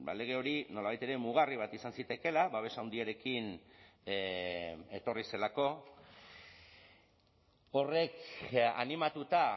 lege hori nolabait ere mugarri bat izan zitekeela babesa handiarekin etorri zelako horrek animatuta